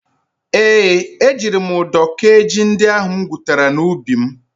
Ee, ejiri m ụdọ kee ji ndị ahụ m gwutara n'ubi m.